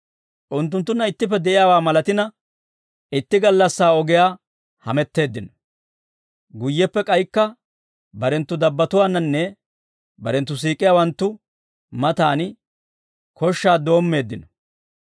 Unttunttunna ittippe de'iyaawaa malatina itti gallassaa ogiyaa hametteeddino. Guyyeppe k'aykka barenttu dabbatuwaannanne barenttu siik'ettiyaawanttu matan koshshaa doommeeddino.